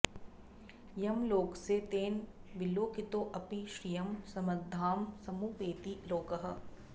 यं लोकसे तेन विलोकितोऽपि श्रियं समृद्धां समुपैति लोकः